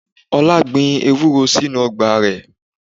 Ọlá gbìn Ewúro sínú ọgbà rẹ.